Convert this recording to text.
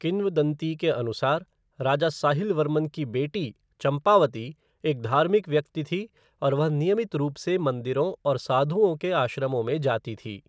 किंवदंती के अनुसार, राजा साहिल वर्मन की बेटी, चंपावती एक धार्मिक व्यक्ति थी और वह नियमित रूप से मंदिरों और साधुओं के आश्रमों में जाती थी।